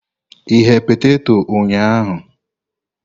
Ighe peteto ụnyahụ?